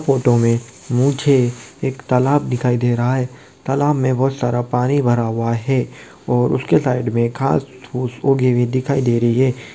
Photo में मुझे एक तालाब दिखाई दे रहा है। तालाब में बहुत सारा पानी भरा हुआ है। और उसके साइड में घांस-फूस उगे हुए दिखाई दे रही है।